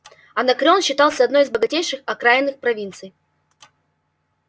анакреон считался одной из богатейших окраинных провинций